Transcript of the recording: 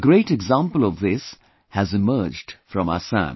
A great example of this has emerged from Assam